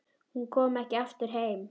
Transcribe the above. Hún kom ekki aftur heim.